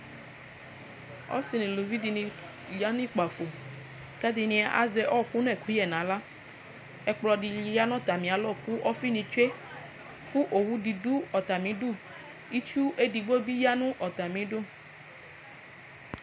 Ɔsi nu uluvi dini ya nu kpafo ku ɛdini azɛ ɔku nu ɛkuyɛ nu aɣla ɛkpɔdini yanu atami alɔ ku ofinii tsue owu ni du atamidu itsu edigbo di ya nu atamidu